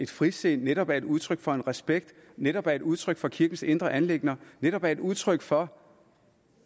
frisind netop er udtryk for respekt netop er udtryk for kirkens indre anliggender netop er udtryk for